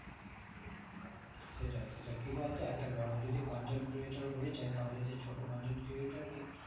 সেটাই সেটাই কি বলতো একটা বড়ো যদি content creator হয়ে যাই তাহলে সে ছোট content creator কে